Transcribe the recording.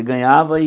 ganhava e...